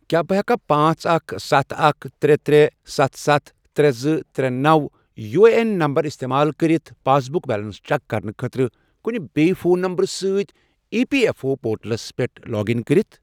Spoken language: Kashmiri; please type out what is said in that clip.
کیٛاہ بہٕ ہیٚکا پانژھ، اکھ، ستھَ، اکھ، ترے، ترے، ستَھ، ستَھ، ترے، زٕ، ترے، نو، یو اے این نمبر استعمال کٔرِتھ پاس بُک بیلنس چیک کرنہٕ خٲطرٕ کُنہِ بیِیٚہِ فون نمبرٕ سۭتۍ E P F O portals پٮ۪ٹھ لاگ اِن کٔرتھ؟